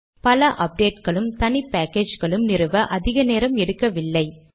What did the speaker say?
பல அப்டேட்களும் தனி பேக்கேஜ்களும் நிறுவ அதிக நேரம் எடுக்கவில்லை